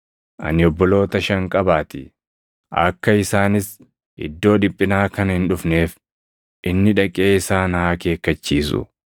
ani obboloota shan qabaatii; akka isaanis iddoo dhiphinaa kana hin dhufneef inni dhaqee isaan haa akeekkachiisu.’